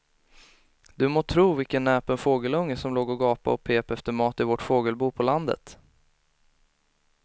Du må tro vilken näpen fågelunge som låg och gapade och pep efter mat i vårt fågelbo på landet.